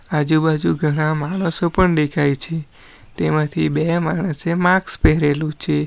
આજુ-બાજુ ઘણા માણસો પણ દેખાય છે તેમાંથી બે માણસે માસ્ક પહેરેલું છે.